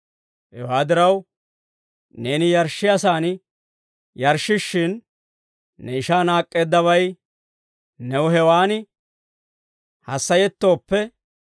Hewaa diraw, neeni yarshshiyaasaan yarshshishshin, ne ishaa naak'k'eeddabay new hewaan hassayettooppe,